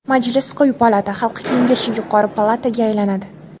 Majlis quyi palata, Xalq kengashi yuqori palataga aylanadi.